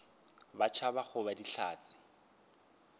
ba tšhaba go ba dihlatse